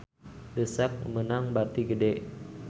The Sak meunang bati gede